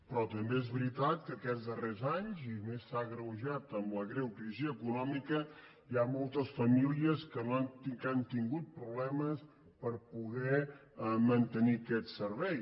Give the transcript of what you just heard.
però també és veritat que aquests darrers anys i més s’ha agreujat amb la greu crisi econòmica hi ha moltes famílies que han tingut problemes per poder mantenir aquest servei